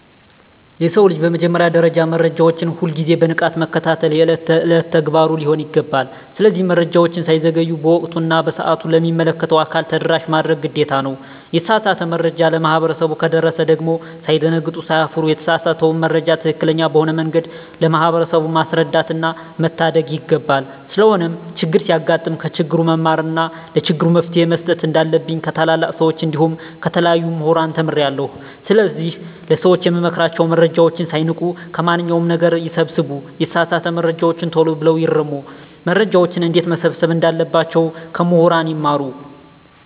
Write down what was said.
የሰው ልጅ በመጀመሪያ ደረጃ መረጃዎችን ሁል ግዜ በንቃት መከታተል የእለት እለት ተግባሩ ሊሆን ይገባል። ስለዚህ መረጃወች ሳይዘገዩ በወቅቱ እና በሰአቱ ለሚመለከተው አካል ተደራሽ ማድረግ ግዴታ ነው። የተሳሳተ መረጃ ለማህበረሰቡ ከደረሰ ደግም ሳይደነግጡ ሳይፈሩ የተሳሳተውን መረጃ ትክክለኛ በሆነ መንገድ ለማህበረሰቡ ማስረዳትና መታደግ ይገባል። ስለሆነም ቸግር ሲያጋጥም ከችግሩ መማርና ለችግሩ መፈትሄ መስጠት እንንዳለብኝ ከታላላቅ ሰወች እንዲሁም ከተለያዩ ሙህራን ተምሬአለሁ። ስለዚህ ለሰወች የምመክራቸው መረጃወችን ሳይንቁ ከማንኛው ነገር ይሰብስቡ የተሳሳተ መረጃወችን ተሎ ብለው ይርሙ። መረጃወችን እንዴትመሰብሰብ እንዳለባቸው ከሙህራን ይማሩ።